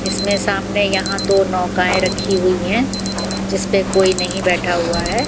इसमें सामने यहां दो नौकाएं रखी हुई हैं जिसपे कोई नहीं बैठा हुआ है।